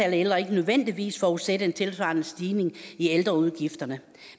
af ældre ikke nødvendigvis forudsætte en tilsvarende stigning i ældreudgifterne